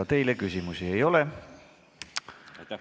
Ka teile küsimusi ei ole.